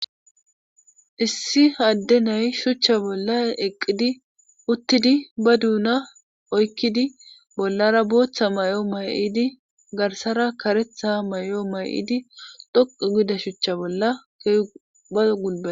issi hadde nay shuchcha bolla eqqidi uttidi ba duuna oykkidi bollara booththa may7o may7idi garsara karetha may7o may7idi dhoqu gida shuchcha bolla keba gulpa